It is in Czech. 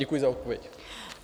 Děkuji za odpověď.